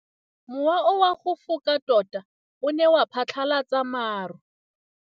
Mowa o wa go foka tota o ne wa phatlalatsa maru.